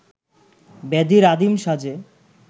ব্যাধির আদিম সাজে